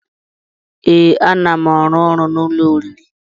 Ee, a na m arụ ọrụ n'ụlọ oriri